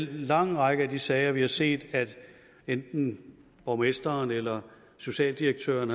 lang række af de sager vi har set at enten borgmesteren eller socialdirektøren